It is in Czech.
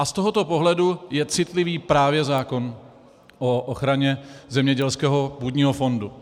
A z tohoto pohledu je citlivý právě zákon o ochraně zemědělského půdního fondu.